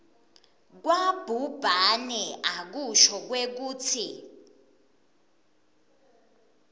kwabhubhane akusho kwekutsi